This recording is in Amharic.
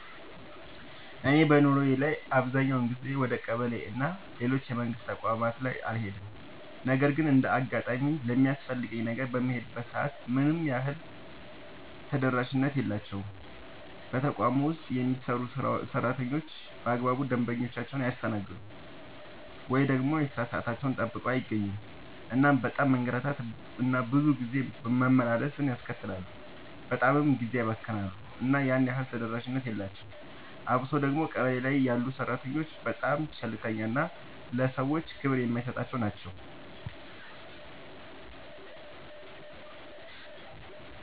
እኔ በኑሮዬ ላይ አብዛኛውን ጊዜ ወደ ቀበሌ እና ሌሎች የመንግስት ተቋማት ላይ አልሄድም ነገር ግን እንደ አጋጣሚ ለሚያስፈልገኝ ነገር በምሄድበት ሰዓት ያን ያህል ተደራሽነት የላቸውም። በተቋም ውስጥ የሚሰሩ ሰራተኞች በአግባቡ ደንበኞቻቸውን አያስተናግዱም። ወይ ደግሞ የሥራ ሰዓታቸውን ጠብቀው አይገኙም እናም በጣም መንገላታት እና ብዙ ጊዜ መመላለስን ያስከትላሉ በጣምም ጊዜ ያባክናሉ እና ያን ያህል ተደራሽነት የላቸውም። አብሶ ደግሞ ቀበሌ ላይ ያሉ ሰራተኞች በጣም ቸልተኛ እና ለሰዎች ክብር የማይሰጡ ናቸው።